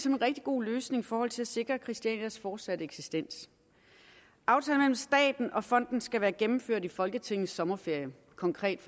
en rigtig god løsning i forhold til at sikre christianias fortsatte eksistens aftalen mellem staten og fonden skal være gennemført i folketingets sommerferie konkret